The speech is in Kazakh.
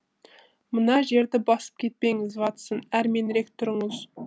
мына жерді басып кетпеңіз ватсон әрменірек тұрыңыз